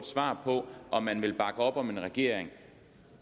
svar på om man vil bakke op om en regering